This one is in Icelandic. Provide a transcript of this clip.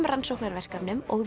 rannsóknarverkefnum og